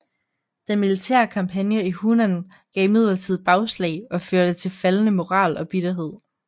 Den militære kampagne i Hunan gav imidlertid bagslag og førte til faldende moral og bitterhed